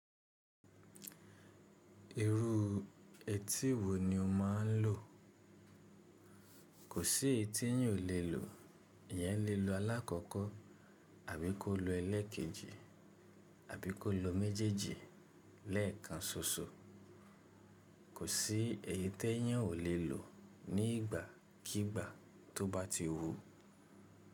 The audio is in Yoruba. Irú etí wo ni o máa ń lò? Kò sí etí yín ò lè lò. Ìyẹn lè lo alákọ̀kọ́, àbí kó lo ẹlẹ́ẹ̀kejì, àbí kó lo méjèèjì lẹ́ẹ̀kan ṣoṣo. Kò sí èyí tẹ́ yín ò lè lò ní ìgbàkígbà tó bá ti wú.